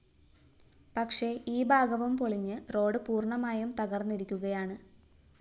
പക്ഷേ ഈ ഭാഗവും പൊളിഞ്ഞ് റോഡ്‌ പൂര്‍ണ്ണമായും തകര്‍ന്നിരിക്കുകയാണ്